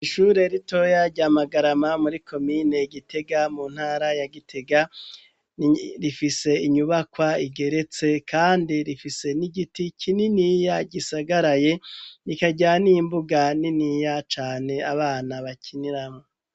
ishure ritoya rya magarama muri komine gitega muntara ya gitega rifise inyubakwa igeretse kandi rifise n'igiti kininiya gisagaraye nikayaniye imbuga niniya cane abana bakiniramo.